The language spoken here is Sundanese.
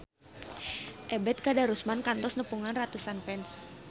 Ebet Kadarusman kantos nepungan ratusan fans